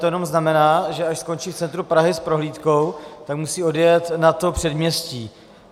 To jenom znamená, že až skončí v centru Prahy s prohlídkou, tak musí odjet na to předměstí.